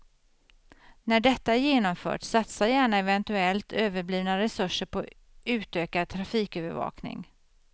När detta är genomfört, satsa gärna eventuellt överblivna resurser på utökad trafikövervakning.